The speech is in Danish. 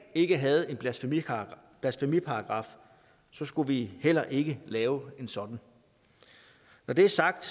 ikke havde en blasfemiparagraf blasfemiparagraf skulle vi heller ikke lave en sådan når det er sagt